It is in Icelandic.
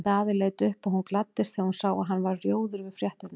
Daði leit upp og hún gladdist þegar hún sá að hann varð rjóður við fréttirnar.